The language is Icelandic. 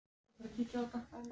Þú stendur þig vel, Sigurmundur!